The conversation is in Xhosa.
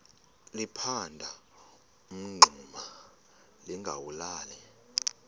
liphanda umngxuma lingawulali